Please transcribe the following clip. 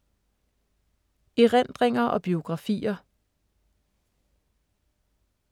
Erindringer og biografier